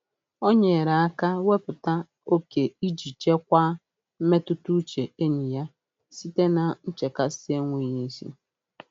O nyere aka wepụta oke iji chekwaa mmetụtauche enyi ya site na nchekasị enweghị isi.